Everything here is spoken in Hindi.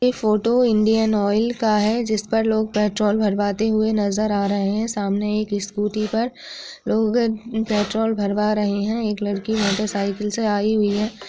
ये फोटो इनडियन ऑइल का है जिस पर लोग पेट्रोल भरवाते हुई नज़र आ रहे हैं सामने एक स्कूटी पर लोग पेट्रोल भरवा रहे हैं एक लड़की मोटरसायकल से आई हुई है।